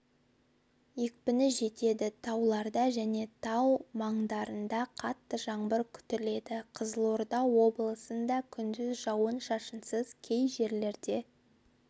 екпіні жетеді тауларда және тау маңдарында қатты жаңбыр күтіледі қызылорда облысында күндіз жауын-шашынсыз кей жерлерде